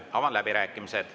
Avan läbirääkimised.